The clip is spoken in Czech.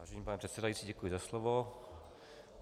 Vážený pane předsedající, děkuji za slovo.